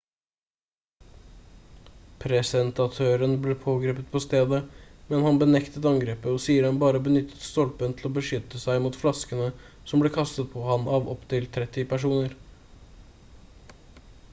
presentatøren ble pågrepet på stedet men han benektet angrepet og sier at han bare benyttet stolpen til å beskytte seg mot flaskene som ble kastet på ham av opptil 30 personer